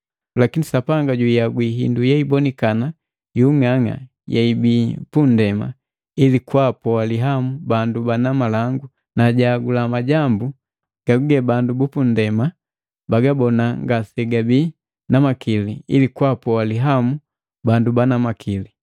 Lakini Sapanga juihagwi hindu yeibonikana yung'ang'a yeibii pundema, ili kwaapoa lihamu bandu bana malangu na jahagula majambu gaguge bandu bupundema bagabona ngasegabii na makili ili kwaapoa lihamu bandu bana makili.